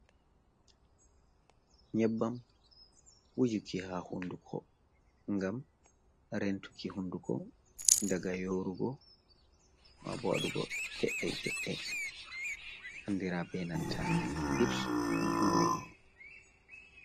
Nyebbam wujuki ha hunduko ngam rentuki hunduko daga yorugo, mabo wadugo mee kee je andira be nanta lips glus.